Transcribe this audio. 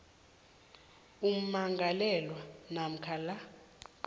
ummangalelwa namkha la